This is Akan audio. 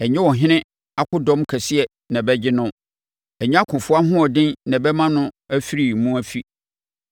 Ɛnyɛ ɔhene akodɔm kɛseɛ na ɛbɛgye no; ɛnyɛ ɔkofoɔ ahoɔden na ɛbɛma no afiri mu afi.